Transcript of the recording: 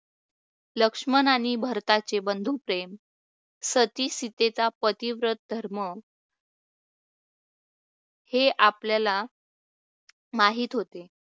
लक्ष्मण आणि भरताचे बंधुप्रेम सतीसीतेचा प्रतिवत धर्म हे आपल्याला माहीत होते.